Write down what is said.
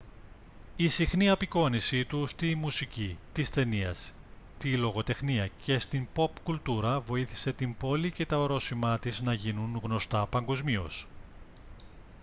η συχνή απεικόνισή του στη μουσική τις ταινίες τη λογοτεχνία και στην ποπ κουλτούρα βοήθησε την πόλη και τα ορόσημά της να γίνουν γνωστά παγκοσμίως